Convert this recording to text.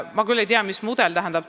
Ma küll ei tea, mis mudel teil on.